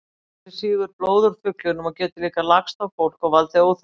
Fló þessi sýgur blóð úr fuglinum og getur líka lagst á fólk og valdið óþægindum.